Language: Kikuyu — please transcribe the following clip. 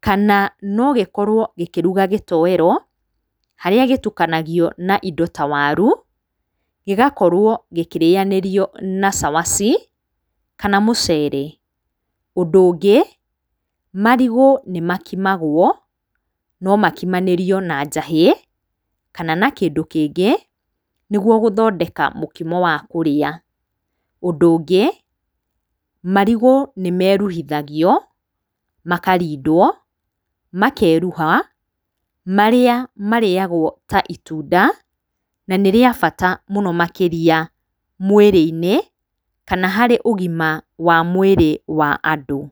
Kana no gĩkorwo gĩkĩruga gĩtoero, harĩa gĩtukanagio na indo ta waru, gĩgakorwo gĩkĩrĩanĩrio na cabaci kana mũcere. Ũndũ ungĩ, marigũ nĩ makimagwo , no makimanĩrio na njahĩ, kana na kĩndũ kĩngĩ, nĩguo gũthondeka mũkimo wa kũrĩa. Ũndũ ũngĩ, marigũ nĩ meruhithagio, makarindwo, makeruha, marĩa marĩagwo ta itunda, na nĩ rĩa bata mũno makĩria mwĩrĩ-inĩ kana harĩ ũgima wa mwĩrĩ wa andũ.